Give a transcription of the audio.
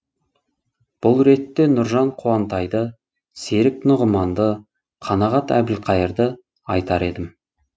бұл ретте нұржан қуантайды серік нұғыманды қанағат әбілқайырды айтар едім